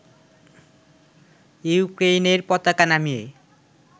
ইউক্রেইনের পতাকা নামিয়ে